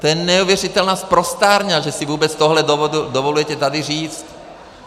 To je neuvěřitelná sprosťárna, že si vůbec tohle dovolujete tady říct!